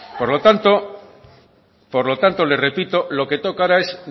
por lo tanto le repito lo que toca ahora es